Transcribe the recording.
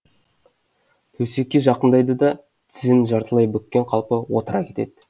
төсекке жақындайды да тізені жартылай бүккен қалпы отыра кетеді